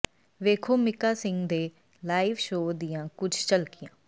ਵੇਖੋ ਮੀਕਾ ਸਿੰਘ ਦੇ live show ਦੀਆਂ ਕੁਝ ਝਲਕੀਆਂ